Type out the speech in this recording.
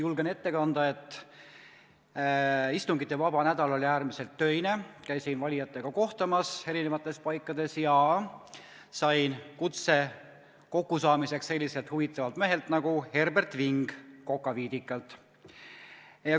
Julgen ette kanda, et istungivaba nädal oli äärmiselt töine, käisin valijatega kohtumas eri paikades ja sain kutse kokkusaamiseks selliselt huvitavalt mehelt nagu Herbert Ving Kokaviidikalt.